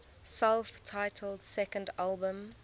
self titled second album